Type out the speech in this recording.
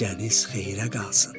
Gecəniz xeyrə qalsın.